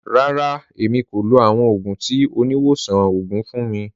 Rárá, èmi kò lọ̀ awọn ogun tí oníwọ̀sàn ogun fun mi.